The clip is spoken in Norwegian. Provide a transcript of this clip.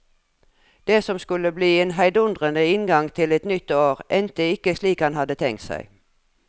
Det som skulle bli en heidundrende inngang til et nytt år, endte ikke slik han hadde tenkt seg.